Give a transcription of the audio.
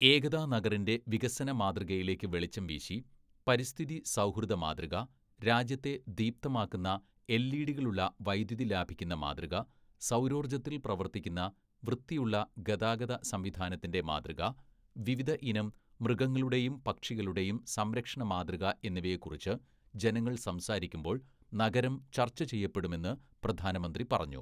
ഏകതാ നഗറിന്റെ വികസന മാതൃകയിലേക്ക് വെളിച്ചംവീശി, പരിസ്ഥിതിസൗഹൃദമാതൃക, രാജ്യത്തെ ദീപ്തമാക്കുന്ന എൽഇഡികളുള്ള വൈദ്യുതി ലാഭിക്കുന്ന മാതൃക, സൗരോർജത്തിൽ പ്രവർത്തിക്കുന്ന വൃത്തിയുള്ള ഗതാഗതസംവിധാനത്തിന്റെ മാതൃക, വിവിധ ഇനം മൃഗങ്ങളുടെയും പക്ഷികളുടെയും സംരക്ഷണമാതൃക എന്നിവയെക്കുറിച്ച് ജനങ്ങൾ സംസാരിക്കുമ്പോൾ നഗരം ചർച്ചചെയ്യപ്പെടുമെന്ന് പ്രധാനമന്ത്രി പറഞ്ഞു.